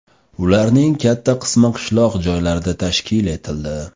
Ularning katta qismi qishloq joylarda tashkil etildi.